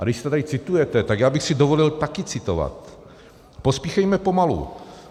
A když to tady citujete, tak já bych si dovolil taky citovat: "Pospíchejme pomalu.